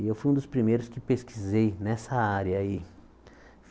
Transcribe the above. E eu fui um dos primeiros que pesquisei nessa área aí.